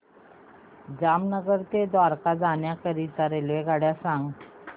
जामनगर ते द्वारका जाण्याकरीता रेल्वेगाडी सांग